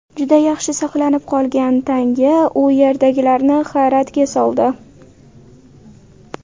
Juda yaxshi saqlanib qolgan tanga u yerdagilarni hayratga soldi.